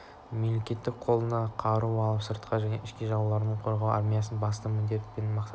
мемлекетті қолына қару алып сыртқы және ішкі жаулардан қорғау армияның басты міндеті мен мақсаты